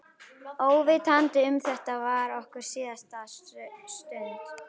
Óvitandi um að þetta var okkar síðasta stund.